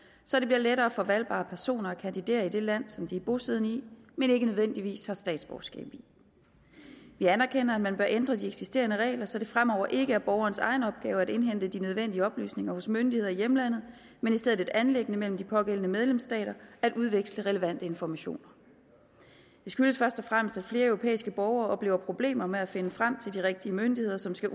så det bliver lettere for valgbare personer at kandidere i det land som de er bosiddende i men ikke nødvendigvis har statsborgerskab i vi anerkender at man bør ændre de eksisterende regler så det fremover ikke er borgerens egen opgave at indhente de nødvendige oplysninger hos myndigheder i hjemlandet men i stedet et anliggende mellem de pågældende medlemsstater at udveksle relevante informationer det skyldes først og fremmest at flere europæiske borgere oplever problemer med at finde frem til de rigtige myndigheder som skal